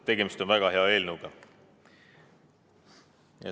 Tegemist on väga hea eelnõuga.